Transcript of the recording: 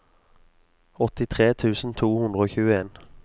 åttitre tusen to hundre og tjueen